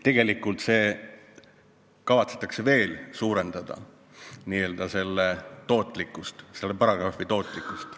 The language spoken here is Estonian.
Tegelikult kavatsetakse veel suurendada selle paragrahvi n-ö tootlikkust.